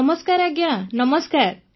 ନମସ୍କାର ଆଜ୍ଞା ନମସ୍କାର